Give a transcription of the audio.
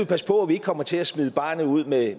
passe på vi ikke kommer til at smide barnet ud med